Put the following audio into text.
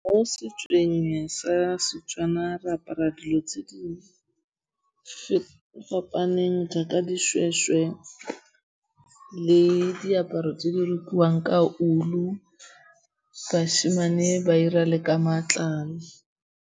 Mo setsong sa Setswana re apara dilo tse di fapaneng jaaka dishweshwe le diaparo tse di rokiwang ka ulu, bashimane ba ira le ka matlalo.